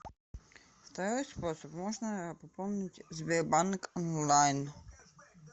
второй способ можно пополнить сбербанк онлайн